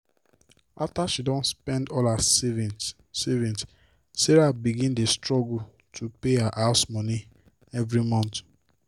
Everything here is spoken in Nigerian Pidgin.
after she don spend all her savings savings sarah begin dey struggle to pay her house moni every month.